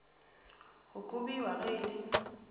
go kobiwa ge e le